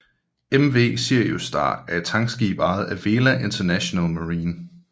MV Sirius Star er et tankskib ejet af Vela International Marine